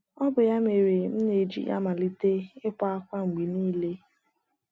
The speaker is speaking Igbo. Ọ bụ ya mere m na - eji amalite ịkwa ákwá mgbe nile.